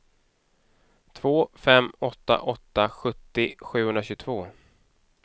två fem åtta åtta sjuttio sjuhundratjugotvå